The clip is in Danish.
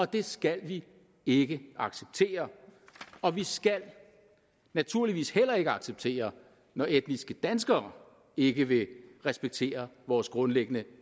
det skal vi ikke acceptere og vi skal naturligvis heller ikke acceptere når etniske danskere ikke vil respektere vores grundlæggende